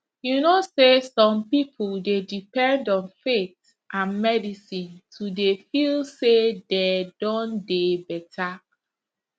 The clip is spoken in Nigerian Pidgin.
you know say some people dey depend on faith and medicine to dey feel say dey don dey better